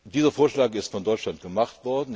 Dieser Vorschlag wurde von Deutschland gemacht.